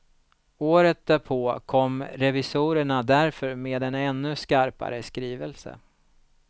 Året därpå kom revisorerna därför med en ännu skarpare skrivelse.